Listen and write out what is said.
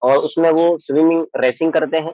और उसमें वो स्विमिंग रेसिंग करते हैं।